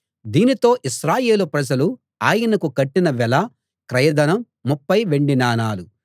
దీనితో ఇశ్రాయేలు ప్రజలు ఆయనకు కట్టిన వెల క్రయధనం ముప్ఫై వెండి నాణాలు